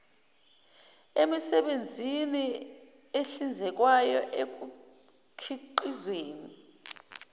emisebenzini ehlinzekwayo ekukhiqizeni